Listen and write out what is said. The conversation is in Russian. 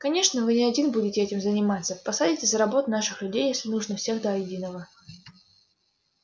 конечно вы не один будете этим заниматься посадите за работу наших людей если нужно всех до единого